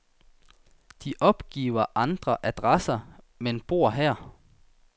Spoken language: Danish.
De opgiver andre adresser, men bor her.